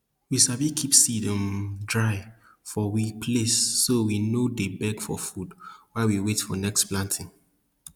we sabi keep seed um dry for we place so we no dey beg for food while we wait for next planting